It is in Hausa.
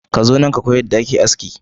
Ka zo nan ka koyi yadda ake yin aski.